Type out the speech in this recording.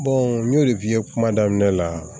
n y'o de f'i ye kuma daminɛ la